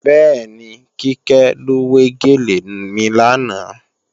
Bẹ́ẹ̀ni, Kíkẹ́ ló wé gèlè mi lánàá